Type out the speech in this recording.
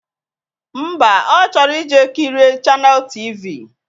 Ḿbà, Ọ chọrọ ije kirie chaneelụ tv